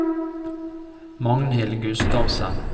Magnhild Gustavsen